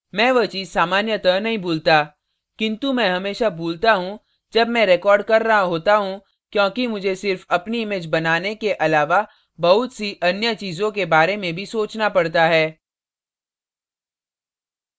मैं वह चीज़ सामान्यतः नहीं भूलता किन्तु मैं हमेशा भूलता हूँ जब मैं रिकार्ड कर रही होता हूँ क्योंकि मुझे सिर्फ अपनी image बनाने के अलावा बहुत the अन्य चीज़ों के बारे में भी सोचना पड़ता है